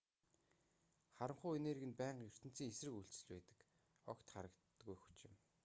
харанхуй энерги нь байнга ертөнцийн эсрэг үйлчилж байдаг огт харагддаггүй хүч юм